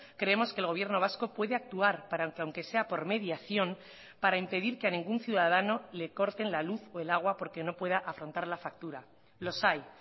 creemos que el gobierno vasco puede actuar para que aunque sea por mediación para impedir que a ningún ciudadano le corten la luz o el agua porque no pueda afrontar la factura los hay